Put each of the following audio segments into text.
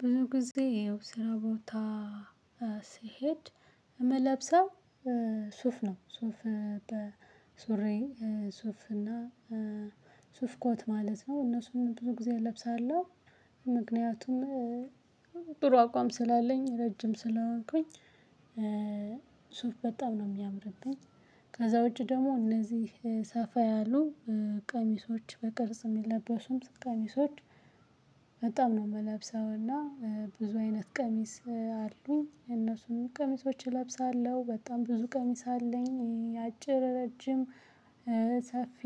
ብዙ ጊዜ ይኸው ስራ ቦታ ስሄድ ምለብሰው ሱፍ ነው ሱፍ በሱሪ ሱፍ እና ሱፍኮት ማለት ነው እነሱን ብዙ ጊዜ እለብሳለሁ። ምክንያቱም ጥሩ አቋም ስላለኝ ረጅም ስለሆንኩኝ። ሱፍ በጣም ነው የሚያምርበኝ። ከዛ ውጪ ደግሞ እነዚህ ሰፋ ያሉ ቀሚሶች በቅርጽ የሚለበሱም ቀሚሶች በጣም ነው የምለብሰውና ብዙ አይነት ቀሚስ አሉኝ። እነሱንም ቀሚሶች እለብሳለሁ በጣም ብዙ ቀሚስ አለኝ የአጭር ረጅም ሰፊ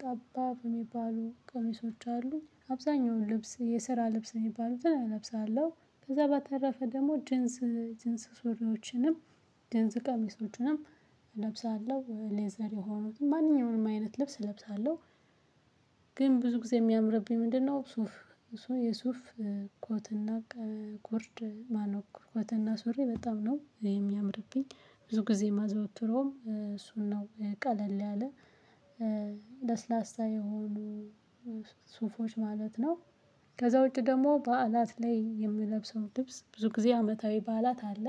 ጠባብ የሚባሉ ቀሚሶች አሉ። አብዛኛውን ልብስ የስራ ልብስ የሚባሉትን እለብሳለሁ። ከዛ በታረፈ ደግሞ ጅንስ ሱሪዎችንም ጅንስ ቀሚሶችንም እለብሳለሁ ሌዘር የሆኑትም ማንኛውም አይነት ልብስ እለብሳለሁ። ግን ብዙ ጊዜ የሚያምርብኝ ምንድነው? ሱፍ የሱፍ ኮትና ጉርድ ማነው ኮትና ሱሪ በጣም ነው የሚያምርብኝ። ብዙ ጊዜ ማዘወትረዉም እሱን ነው ቀለል ያለ ለስላሳ የሆኑ ሱፎች ማለት ነው። ከዛ ውጪ ደግሞ በዓላት ላይ የምለብሰው ልብስ ብዙ ጊዜ አመታዊ በዓላት አለ።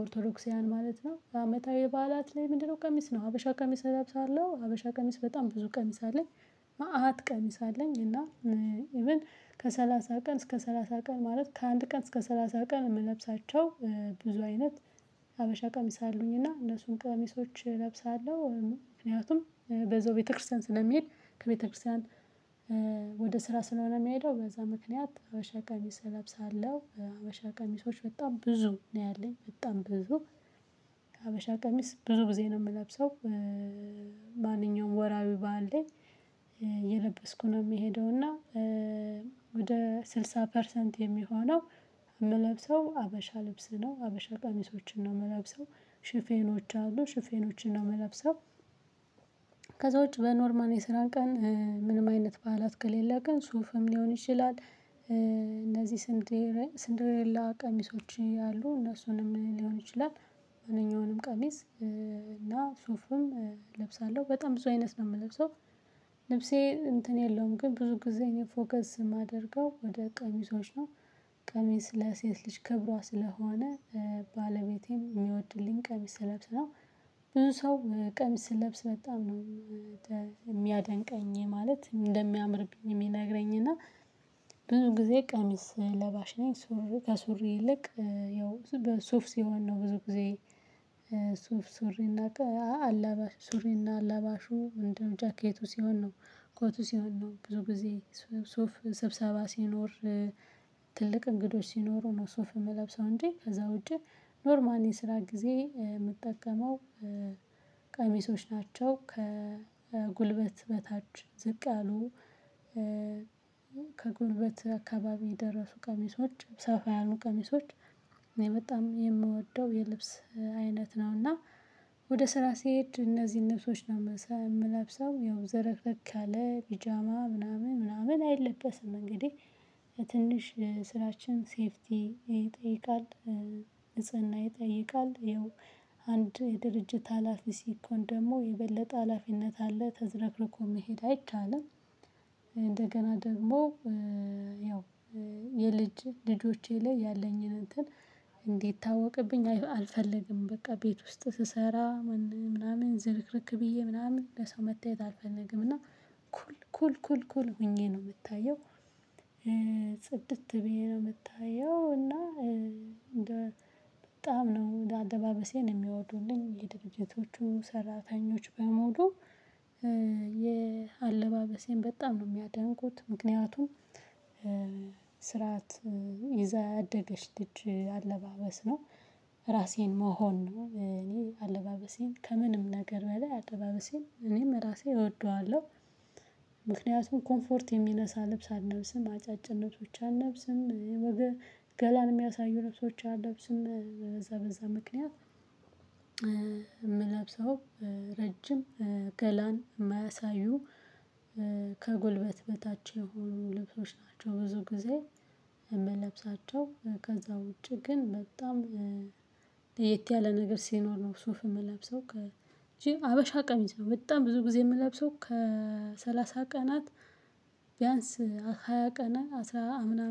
ኦርቶዶክስያዊያን ማለት ነው አመታዊ በዓላት ላይ ምንድነው? ቀሚስ ነው ሀበሻ ቀሚስ እለብሳለሁ ሀበሻ ቀሚስ በጣም ብዙ ቀሚስ አለኝ። መአት ቀሚስ አለኝ እና ኢቭን ከሰላሳ ቀን እስከ ሰላሳ ቀን ማለት ከአንድ ቀን እስከ ሰላሳ ቀን የምለብሳቸው ብዙ አይነት ሀበሻ ቀሚስ አሉኝ። እና እነሱን ቀሚሶች እለብሳለሁ ምክንያቱም በዛው ቤተክርስቲያን ስለሚሄድ ከቤተክርስቲያን ወደ ስራ ስለሆነ የሚያሄደው በዛ ምክንያት ሀበሻ ቀሚስ እለብሳለሁ። ሀበሻ ቀሚሶች በጣም ብዙ ነው ያለኝ በጣም ብዙ ከሀበሻ ቀሚስ ብዙ ጊዜ ነው የምለብሰው። ወራዊ በዓል ላይ የለበስኩ ነው የሚሄደው እና ወደ ስልሳ ፐርሰንት የሚሆነው የምለብሰው ሀበሻ ልብስ ነው ሀበሻ ቀሚሶችን ነው የምለብሰው። ሽፌኖች አሉ ሽፌኖችን ነው የምለብሰው። ከዛ ውጪ በኖርማል የስራን ቀን ምንም አይነት በዓላት ከሌለ ግን ሱፍም ሊሆን ይችላል። እነዚህ ስንዴሬላ ቀሚሶች አሉ እነሱንም ሊሆን ይችላል። ማንኛውንም ቀሚስ እና ሱፍም እለብሳለሁ በጣም ብዙ አይነት ነው የምለብሰው። ልብሴ እንትን የለውም ግን ብዙ ጊዜ እኔ ፎከስ የማደርገው ወደ ቀሚሶች ነው። ቀሚስ ለሴት ልጅ ክብሯ ስለሆነ ባለቤቴም የሚወድልኝ ቀሚስ ለብስ ነው። ብዙ ሰው ቀሚስ ስለብስ በጣም ነው የሚያደንቀኝ ማለት እንደሚያምርብኝ የሚነግረኝ እና ብዙ ጊዜ ቀሚስ ለባሽ ነኝ። ሱሪ ከሱሪ ይልቅ ያው ሱፍ ሲሆን ነው ብዙ ጊዜ ሱፍ ሱሪ አላባሽ ሱሪ እና አላባሹ ምንድነው? ጃኬቱ ሲሆን ነው። ኮቱ ሲሆን ነው ብዙ ጊዜ ሱፍ ሰብሰባ ሲኖር ትልቅ እንግዶች ሲኖሩ ነው ሶፍ የምለብሰው። እንጂ ከዛ ውጪ ኖርማል ስራ ጊዜ የምጠቀመው። ቀሚሶች ናቸው ከጉልበት በታች ዝቅ ያሉ ከጉልበት አካባቢ የደረሱ ቀሚሶች ሰፋ ያሉ ቀሚሶች። በጣም የምወደው የልብስ አይነት ነው እና ወደ ስራ ሲሄድ እነዚህን ልብሶች ነው የምለብሰው። ያው ዝርክርክ ያለ ቢጃማ ምናምን ምናምን አይለበስም እንግዲህ ስራችን ሴፍቲ ይጠይቃል። ንጽህና ይጠይቃል ያው የድርጅት ሀላፊ ሲኮን ደግሞ የበለጠ ሀላፊነት አለ ተዘረክርኮ መሄድ አይቻልም። እንደገና ደግሞ ያው የልጅ ልጆቼ ላይ ያለኝን እንትን እንዲታወቅብኝ አልፈልግም። በቃ ቤት ውስጥ ስሰራ ምናምን ዝርክርክ ብዬ ምናምን ለሰው መታየት አልፈነግም። እና ኩል ኩል ኩል ኩል ሆኜ ነው የምታየው። ጽድት ብዬ ነው የምታየው። እና በጣም ነው አለባበሴን የሚወዱልኝ የድርጅቶቹ ሰራተኞች በመሉ። የአለባበሴን በጣም ነው የሚያደንቁት ምክንያቱም ስርዓት ይዛ ያደገች ልጅ አለባበስ ነው። ራሴን መሆን ነው እኔ አለባበሴን ከምንም ነገር በላይ አለባበሴን እኔም ራሴን እወደዋለሁ። ምክንያቱም ኮምፎርት የሚነሳ ልብስ አልነብስም አጫጭር አልነብስም። ገላን የሚያሳዩ ልብሶች አልለብስም። በዛ በዛ ምክንያት። የምለብሰው ረጅም ገላን የማያሳዩ ከጎልበት በታች የሆኑ ልብሶች ናቸው። ብዙ ጊዜ የምለብሳቸው ከዛ ውጪ ግን በጣም ለየት ያለ ነገር ሲኖር ነው ሱፍ የምለብሰው። እንጂ ሀበሻ ቀሚስ ነው በጣም ብዙ ጊዜ የምለብሰው። ከሰላሳ ቀናት ቢያንስ ሃያ ቀናት አስራ ምናምን